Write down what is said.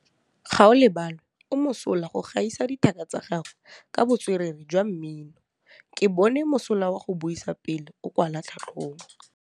Gaolebalwe o mosola go gaisa dithaka tsa gagwe ka botswerere jwa mmino. Ke bone mosola wa go buisa pele o kwala tlhatlhobô.